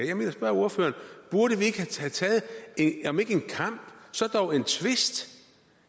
jeg vil spørge ordføreren burde vi ikke have taget om ikke en kamp så dog en tvist